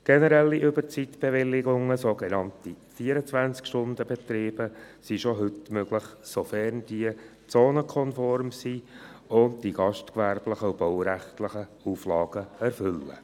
Generelle Überzeitbewilligungen, sogenannte 24-Stunden-Betriebe, sind schon heute möglich, sofern diese zonenkonform sind und die gastgewerblichen und baurechtlichen Auflagen erfüllen.